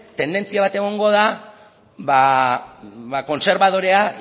tendentzia bat egongo da kontserbadorea